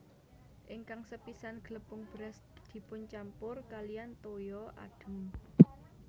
Ingkang sepisan glepung beras dipuncampur kaliyan toya adhem